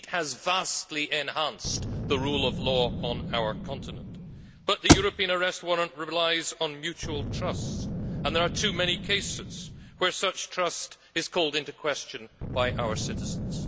It has vastly enhanced the rule of law on our continent, but the European Arrest Warrant relies on mutual trust, and there are too many cases where such trust is called into question by our citizens.